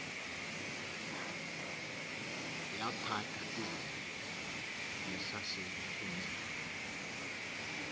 yaphatha izembe ngesasekunene